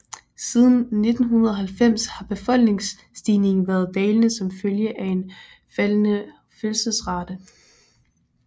Siden 1990 har befolkningsstigningen været dalende som følge af en faldende fødselsrate